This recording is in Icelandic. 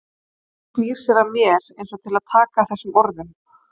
Og hún snýr sér að mér einsog til að taka við þessum orðum.